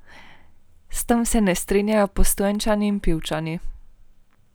S tem se ne strinjajo Postojnčani in Pivčani.